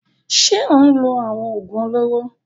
Ṣé ó ń lo àwọn òògùn olóró?